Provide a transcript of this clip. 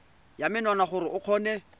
ya menwana gore o kgone